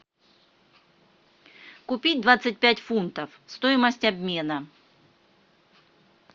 купить двадцать пять фунтов стоимость обмена